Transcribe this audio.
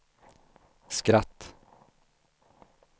skratt